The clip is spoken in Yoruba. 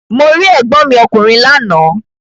Mo rí ègbọ́n mi ọkùnrin lánàá.